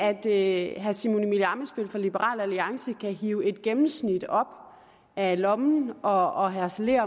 at herre simon emil ammitzbøll fra liberal alliance kan hive et gennemsnit op af lommen og harcelere